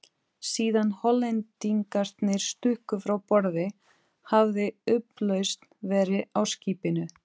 Síðan Hollendingarnir stukku frá borði, hafði upplausn verið á skipinu.